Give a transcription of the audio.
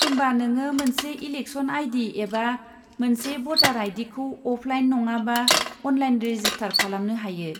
होमबा नोङो मोनसे इलेकसन आइ.डि. एबा मोनसे भटार आइ.डि.खौ अफलाइन नङाबा अनलाइन रेजिस्टार खालामनो हायो।